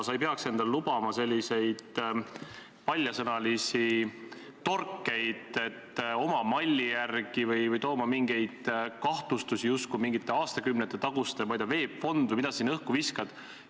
Sa ei peaks endale lubama paljasõnalisi torkeid, et "oma malli järgi", või esitama mingeid kahtlustusi mingite aastakümnete taguste asjade kohta, ma ei tea, VEB Fond või mis sa siin õhku viskasid.